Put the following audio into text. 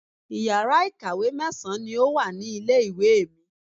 Iyàrá ìkàwé mẹ́sàn-án ni o wa ní ilé ìwé mi